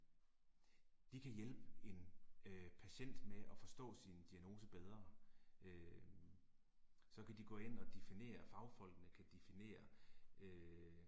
De kan hjælpe en øh patient med at forstå sin diagnose bedre øh. Så kan de gå ind og definere, fagfolkene kan definere øh